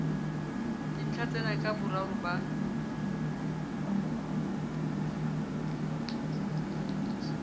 dintlha tsena ka boraro ba